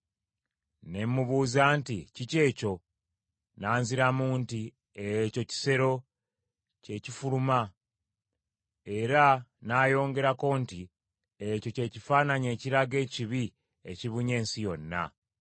Ne mubuuza nti, “Kiki ekyo?” N’anziramu nti, “Ekyo kisero, kye kifuluma.” Era n’ayongerako nti, “Ekyo kye kifaananyi ekiraga ekibi ekibunye ensi yonna.”